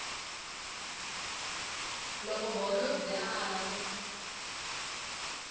loko holobye a ala ku